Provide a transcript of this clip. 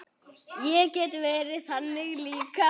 Ég get verið þannig líka.